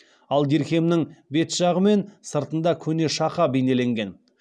ал дирхемнің бет жағы мен сыртында көне шақа бейнеленген